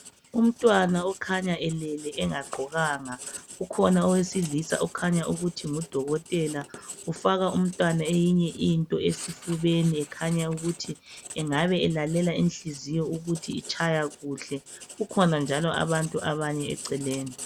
Umntwana okhanya elele engagqokanga, ukhona owesilisa okhanya ukuthi ngudokotela. Ufaka umntwana eyinye into esifubeni, ekhanya ukuthi engabe elalela inhliziyo ukuthi itshaya kuhle. Kukhona njalo abanye abantu eceleni.